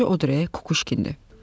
Əti acı o deyil, Kukuşkindir.